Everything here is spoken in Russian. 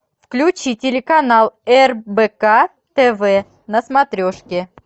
включи телеканал рбк тв на смотрешке